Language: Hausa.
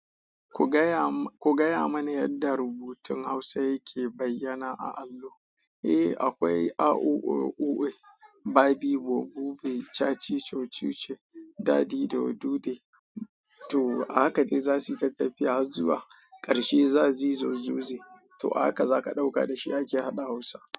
Ku gaya mani yadda rubun hausa yake bayana a alo. Eh, akwai A, u, O, U, Babi, bobo, Be, Chachi, Chochi, Dadi da Dude. To haka za su yi tafiya zuwa ƙarshe za su yi zo zoze. To haka za ka ɗauka da shi ake hana Hausa.